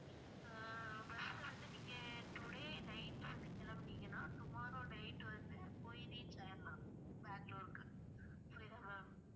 ஆஹ் bus வந்து நீங்க today night ல வந்து கிளம்புனீங்கன்னா tomorrow night வந்து போயி reach ஆயிரலாம் பெங்களூர்க்கு புரியுதா ma'am